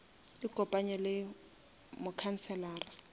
ikopanye le mokhanselara